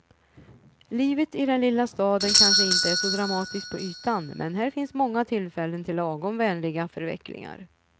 Livet i den lilla staden kanske inte är så dramatiskt på ytan, men här finns många tillfällen till lagom vänliga förvecklingar.